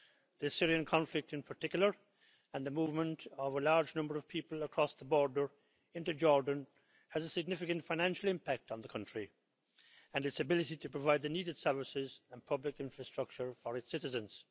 The Syrian conflict in particular and the movement of a large number of people across the border into Jordan has a significant financial impact on the country and its ability to provide the needed services and public infrastructure for its citizens.